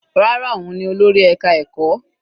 Rárá, òun ni olórí ẹka ẹ̀kọ́.